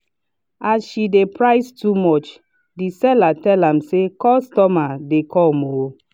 as she dey price too much the seller tell am say “customer dey come o”